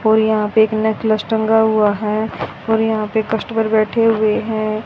और यहां पे एक नेकलेस टंगा हुआ है और यहां पे कस्टमर बैठे हुए हैं।